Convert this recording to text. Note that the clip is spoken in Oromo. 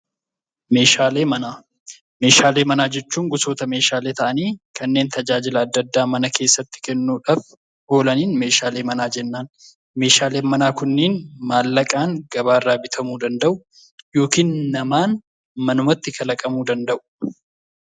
Meeshaalee manaa jechuun gosoota meeshaalee ta'anii kanneen tajaajila adda addaa mana keessatti kennuudhaaf oolaniin meeshaalee manaa jennaan. Meeshaaleen manaa kunneen qarshiidhaan gabaarraa bitamuu danda'u yookiin namaan manumatti kalaqamuu danda'u.